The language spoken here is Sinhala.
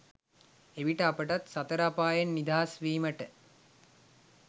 එවිට අපටත් සතර අපායෙන් නිදහස් වීමට